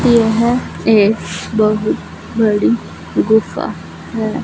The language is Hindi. यह एक बहुत बड़ी गुफा है।